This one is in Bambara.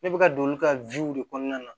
Ne bɛ ka don olu ka de kɔnɔna na